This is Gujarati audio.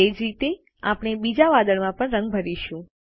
તે જ રીતે આપણે બીજા વાદળમાં પણ રંગ ભરીશું